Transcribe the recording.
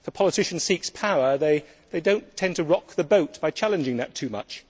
If a politician seeks power, they do not tend to rock the boat by challenging that too much.